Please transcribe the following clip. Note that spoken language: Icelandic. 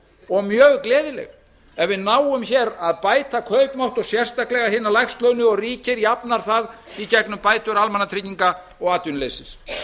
og mjög gleðileg ef við náum hér að bæta kaupmátt og sérstaklega hinna lægst launuðu og ríkið jafnar það í gegnum bætur almannatrygginga og atvinnuleysis